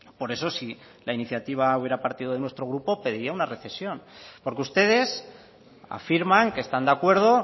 por eso si la iniciativa hubiera partido de nuestro grupo pediría una recesión porque ustedes afirman que están de acuerdo